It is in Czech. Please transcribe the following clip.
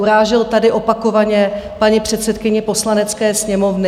Urážel tady opakovaně paní předsedkyni Poslanecké sněmovny.